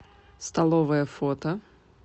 столовая фото